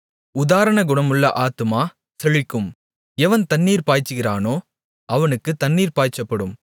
உதாரகுணமுள்ள ஆத்துமா செழிக்கும் எவன் தண்ணீர் பாய்ச்சுகிறானோ அவனுக்குத் தண்ணீர் பாய்ச்சப்படும்